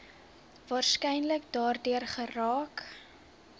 waarskynlik daardeur geraak